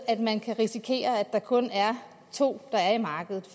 at man kan risikere at der kun er to i markedet